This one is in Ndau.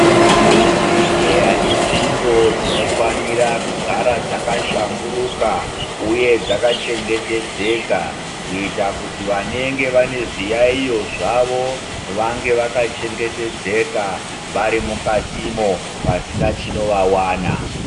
Zvibhedhleya inzvimbo dzinofanira kugara dzakahlamburuka uye dzakachengetedzeka kuita kuti vanenge vane zviyayiyo zvavo vange vakachengetedzeka vari mukatimo pasina chinovawana.